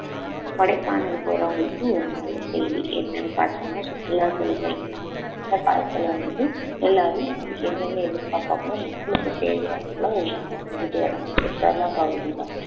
கொடைக்கானல் போறவங்களுக்கு ஒரு நல்ல செய்தி என்னன்னு பார்த்தோம்ன்னா சுற்றுலா செல்ற இந்த காலத்துல வந்து எல்லாரும் என்னென்ன எதிர்பார்ப்பாங்களோ மக்களுக்கு தேவையானதெல்லாம் ஒண்ணுன்னா செஞ்சுட்டு வராங்க சுற்றுலா பகுதில